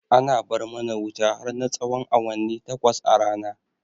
Ana bar mana wuta har na tsahon awanni takwas a rana